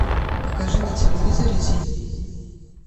покажи на телевизоре зи